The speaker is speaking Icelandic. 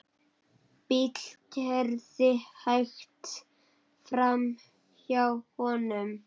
Bíll keyrði hægt framhjá honum.